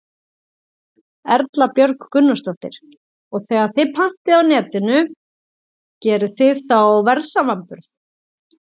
Erla Björg Gunnarsdóttir: Og þegar þið pantið á Netinu, gerið þið þá verðsamanburð?